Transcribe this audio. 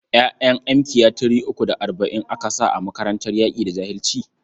ƴa'ƴan mkiya three uku da arba'in aka sa a makarantar yaƙi da jahilci?